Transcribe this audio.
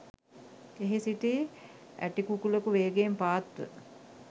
එහි සිටි ඇටිකුකුළෙකු වේගයෙන් පාත් ව